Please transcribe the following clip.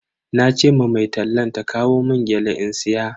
Nace ma mai tallan ta kawo mun gyale in siya.